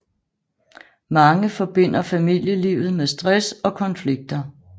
Mange forbinder familielivet med stress og konflikter